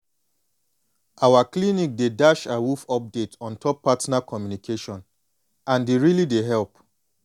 our clinic dey dash awoof update ontop partner communication and e really dey help